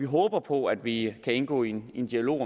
håber på at vi kan indgå i en dialog